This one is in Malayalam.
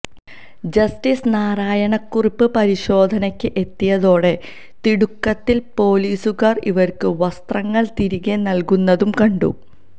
ജസ്റ്റിസ് നാരായണക്കുറുപ്പ് പരിശോധനക്ക് എത്തിയതോടെ തിടുക്കത്തില് പൊലീസുകാര് ഇവര്ക്ക് വസ്ത്രങ്ങള് തിരികെ നല്കുന്നതും കണ്ടു